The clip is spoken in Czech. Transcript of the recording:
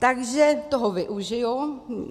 Takže toho využiji.